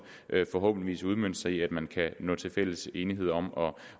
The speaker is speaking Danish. vil forhåbentlig udmønte sig i at man kan nå til fælles enighed om